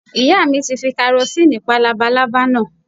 Ìyá mi ti fi karosínì pa lábalábá náà